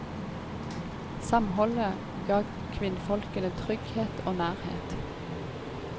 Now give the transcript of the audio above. Samholdet ga kvinnfolkene trygghet og nærhet.